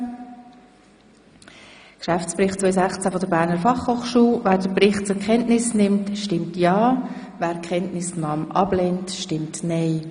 Wer den Geschäftsbericht 2016 der Berner Fachhochschule zur Kenntnis nimmt, stimmt ja, wer dies ablehnt, stimmt nein.